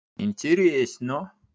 интересно